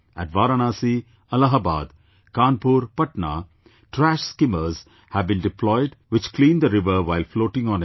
At Varanasi, Allahabad, Kanpur, Patna trash skimmers have been deployed which clean the river while floating on it